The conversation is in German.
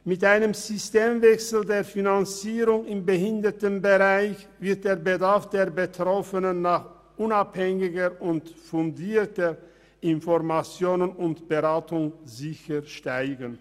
Mit einem Systemwechsel der Finanzierung im Behindertenbereich wird der Bedarf der Betroffenen an unabhängiger und fundierter Information und Beratung sicher steigen.